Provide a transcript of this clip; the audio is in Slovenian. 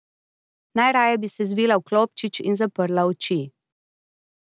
Najraje bi se zvila v klobčič in zaprla oči.